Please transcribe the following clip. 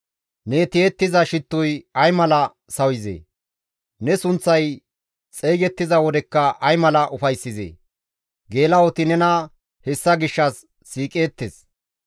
Ne tiyettiza shittoy ay mala sawizee! Ne sunththay xeygettiza wodekka ay mala ufayssizee! Geela7oti nena hessa gishshas siiqeettes.